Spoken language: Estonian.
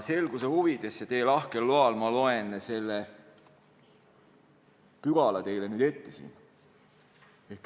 Selguse huvides ja teie lahkel loal ma loen teile selle pügala ette.